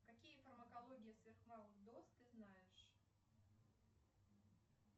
какие фармакологии сверхмалых доз ты знаешь